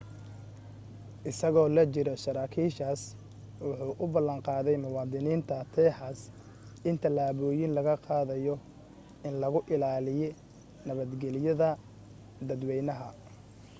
isagoo la jiro saraakiishaas wuxuu u ballan qaaday muwadiniinta texas in talaabooyin lagu qaadayo in lagu ilaaliyi nabadgeliyada dadwaynaha